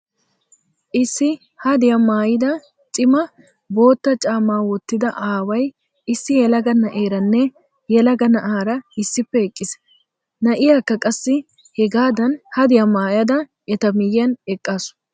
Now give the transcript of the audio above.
Issi hadiyaa maayida cima bootta caamaa wottida aaway issi yelaga na'aaranne yelaga na'eera issippe eqqiis. Na'iyaakka qassi hegaadan hadiyaa maayada eta miyyiyan eqqaasu.